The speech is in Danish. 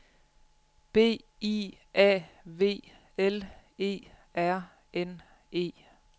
B I A V L E R N E